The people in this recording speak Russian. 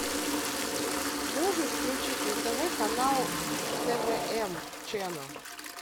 можешь включить на тв канал твм ченел